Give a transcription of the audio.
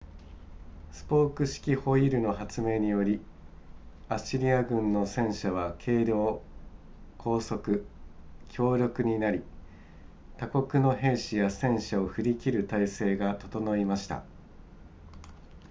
スポーク式ホイールの発明によりアッシリア軍の戦車は軽量高速強力になり他国の兵士や戦車を振り切る体制が整いました